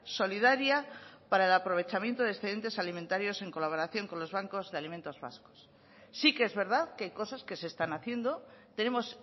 solidaria para el aprovechamiento de excedentes alimentarios en colaboración con los bancos de alimentos vascos sí que es verdad que hay cosas que se están haciendo tenemos